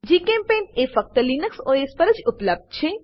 જીચેમ્પેઇન્ટ એ ફક્ત Linux OS પર જ ઉપલબ્ધ છે